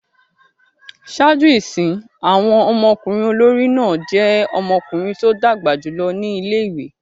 Ṣaaju isin, awọn ọmọkunrin olori náa jẹ ̣ọmọkunrin to dagba julọ ni ìlé-ìwé